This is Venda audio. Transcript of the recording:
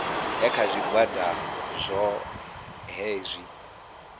ya kha zwigwada zwohe zwi